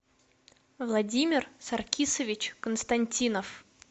владимир саркисович константинов